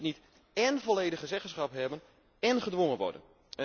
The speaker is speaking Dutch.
Je kunt niet én volledige zeggenschap hebben én gedwongen worden.